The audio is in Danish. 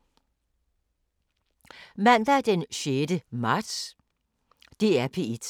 DR P1